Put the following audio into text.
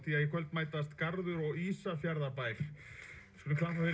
í kvöld mætast Garður og Ísafjarðarbær við